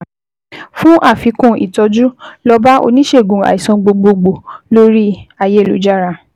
Fún àfikún ìtọ́jú, lọ bá oníṣègùn àìsàn gbogbo gbòò lórí-ayélujára